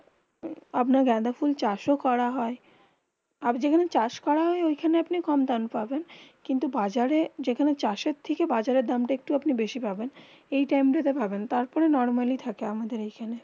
আপনার গেন্ডা ফোলা চাষ করা হয়ে. আযাব যেখানে চাষ করা হয়ে ওইখানে আপনি কম দাম পাবেন কিন্তু বাজারে যেখানে চাষে থেকে বাজারে দামতা একটু বেশি পাবেন. এই টাইম. তা পাবেন তার পরে নরমালি থাকে আমাদের এখানে